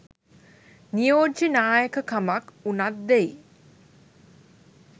නියෝජ්‍ය නායකකමක් උනත් දෙයි